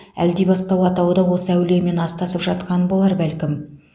әлдибастау атауы да осы әулиемен астасып жатқан болар бәлкім